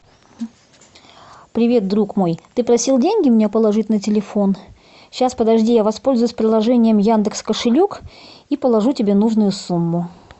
привет друг мой ты просил деньги меня положить на телефон сейчас подожди я воспользуюсь приложением яндекс кошелек и положу тебе нужную сумму